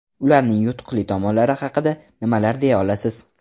Ularning yutuqli tomonlari haqida nimalar deya olasiz?